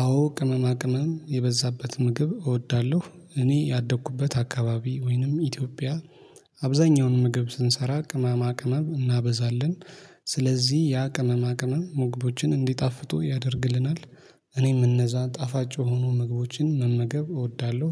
አዎ ቅመማ ቅመም የበዛበት ምግብ እወዳለሁ እኔ ያደግኩበት አካባቢ ወይንም ኢትዮጵያ አብዛኛውን ምግብ ስንሰራ ቅመማ ቅመም እናበዛለን። ስለዚህ ያ ቅመማ ቅመም ምግቦችን እንዲጣፍጡ ያደርግልናል። እኔም እነዛ ጣፋጭ የሆኑ ምግቦችን መመገብ እወዳለሁ።